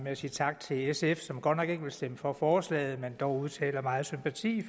at sige tak til sf som godt nok ikke vil stemme for forslaget men som dog udtrykker meget sympati